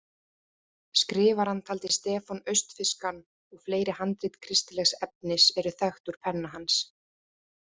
Skrifarann taldi Stefán austfirskan og fleiri handrit kristilegs efnis eru þekkt úr penna hans.